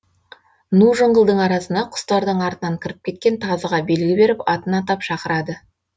ну жыңғылдың арасына құстардың артынан кіріп кеткен тазыға белгі беріп атын атап шақырады